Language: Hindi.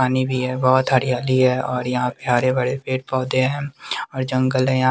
पानी भी है बहोत हरियाली है और यहां पे हरे भरे पेड़ पौधे है और जंगल है यहां--